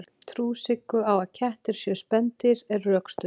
trú siggu á að kettir séu spendýr er rökstudd